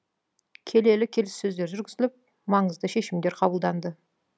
келелі келіссөздер жүргізіліп маңызды шешімдер қабылданды